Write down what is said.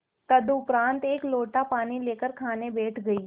तदुपरांत एक लोटा पानी लेकर खाने बैठ गई